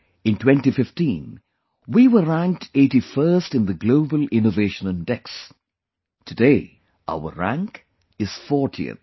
In 2015 we were ranked 81st in the Global Innovation Index today our rank is 40th